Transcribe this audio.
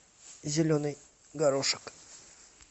зеленый горошек